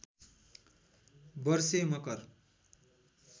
वर्षे मकर